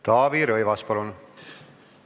Taavi Rõivas, palun!